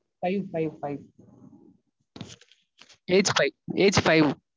Five five five age five age five